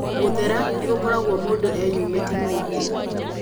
Gũthera nĩ gũkoragwo mũndũ eyumĩte maingĩ.